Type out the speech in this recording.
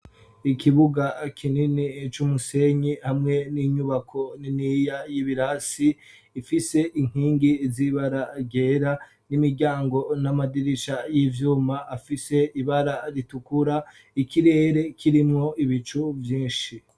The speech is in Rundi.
Ikibuga kinini c'umusenyi hamwe n'inyubako niniya y'ibirasi ifise inkingi z'ibara ryera n'imiryango n'amadirisha y'ivyuma afise ibara ritukura ikirere kirimwo ibicu vyinshi.